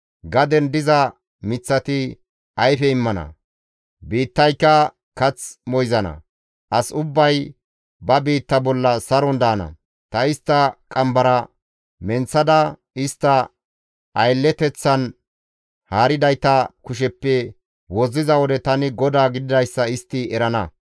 Gaden diza miththati ayfe immana; biittayka kath moyzana; as ubbay ba biitta bolla saron daana. Ta istta qambara menththada istta aylleteththan haaridayta kusheppe wozziza wode tani GODAA gididayssa istti erana.